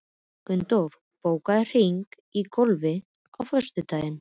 Gunndór, bókaðu hring í golf á föstudaginn.